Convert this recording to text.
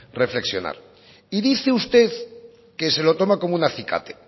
reflexionar y dice usted que se lo toma como un acicate